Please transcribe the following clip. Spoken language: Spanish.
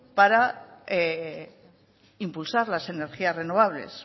para impulsar las energías renovables